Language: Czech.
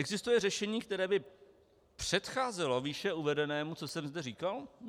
Existuje řešení, které by předcházelo výše uvedenému, co jsem kde říkal?